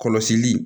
Kɔlɔsili